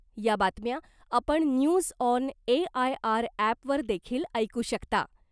या बातम्या आपण न्यूज ऑन एआयआर ऍपवर देखील ऐकू शकता .